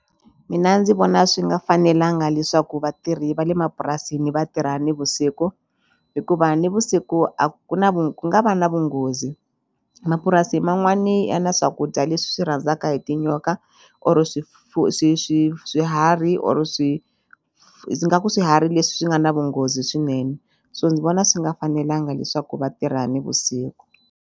Mina ndzi vona swi nga fanelanga leswaku vatirhi va le mapurasini vatirha nivusiku hikuva nivusiku a ku na vu ku nga va na vunghozi mapurasi man'wani ya na swakudya leswi swi rhandzaka hi tinyoka or swi swiharhi or ingaku swiharhi leswi nga na vunghozi swinene so ndzi vona swi nga fanelanga leswaku vatirha nivusiku.